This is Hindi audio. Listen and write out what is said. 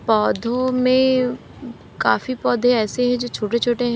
पौधों में काफी पौधे ऐसे हैं जो छोटे छोटे हैं।